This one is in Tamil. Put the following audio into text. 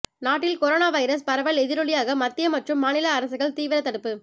நாட்டில் கொரோனா வைரஸ் பரவல் எதிரொலியாக மத்திய மற்றும் மாநில அரசுகள் தீவிர தடுப்பு